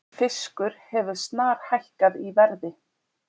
Fiskur hefur snarhækkað í verði